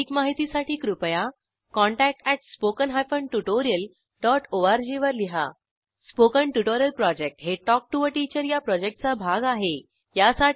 अधिक माहितीसाठी कृपया contact at spoken hyphen tutorial dot org वर लिहा स्पोकन ट्युटोरियल प्रॉजेक्ट हे टॉक टू टीचर या प्रॉजेक्टचा भाग आहे